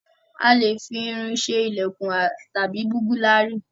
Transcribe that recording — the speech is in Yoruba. A lè fi irin ṣe ilèkùn tàbí búgílárì